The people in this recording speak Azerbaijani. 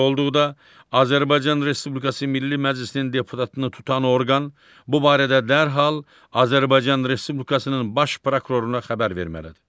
Belə olduqda Azərbaycan Respublikası Milli Məclisinin deputatını tutan orqan bu barədə dərhal Azərbaycan Respublikasının baş prokuroruna xəbər verməlidir.